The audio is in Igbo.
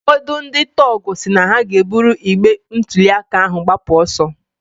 Ụfọdụ ndị tọgụ si na ha ga-ebụrụ igbe ntụliaka ahụ gbapụ ọsọ